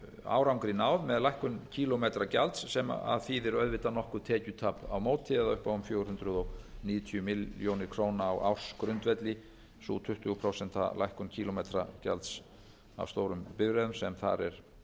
árangri náð með lækkun kílómetragjalds sem þýðir auðvitað nokkurt tekjutap á móti eða upp á um fjögur hundruð níutíu milljónir króna á ársgrundvelli sú tuttugu prósenta lækkun kílómetragjalds af stórum bifreiðum sem þar